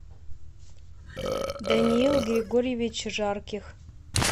даниил григорьевич жарких